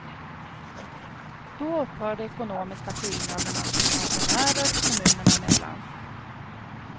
Då upphör de ekonomiska skillnaderna för pensionärer, kommunerna mellan.